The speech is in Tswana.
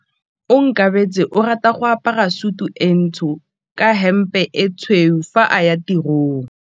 Onkabetse o rata go apara sutu e ntsho ka hempe e tshweu fa a ya tirong.